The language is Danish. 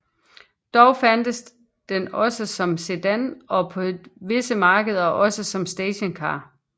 Dog fandtes den også som sedan og på visse markeder også som stationcar